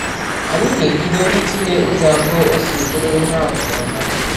Anyị ga-ebido ịtụle ụzọ abụọ o si bụrụ ihe atụ ọma.